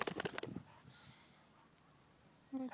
ਬਿਜਲੀ